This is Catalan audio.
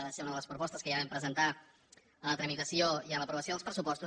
va ser una de les propostes que ja vam presentar en la tramitació i en l’aprovació dels pressupostos